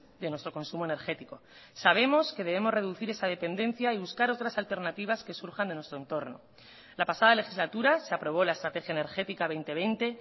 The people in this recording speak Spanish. de nuestro consumo energético sabemos que debemos reducir esa dependencia y buscar otras alternativas que surjan de nuestro entorno la pasada legislatura se aprobó la estrategia energética dos mil veinte